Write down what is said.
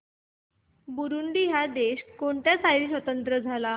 Burundi हा देश कोणत्या साली स्वातंत्र्य झाला